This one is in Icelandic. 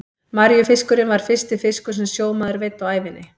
Maríufiskurinn var fyrsti fiskur sem sjómaður veiddi á ævinni.